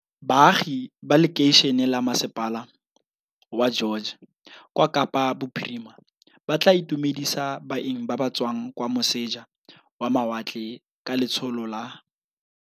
Baagi ba lekeišene la masepala wa George kwa Kapa Bophirima ba tla itumedisa baeng ba ba tswang kwa moseja wa mawatle ka letsholo la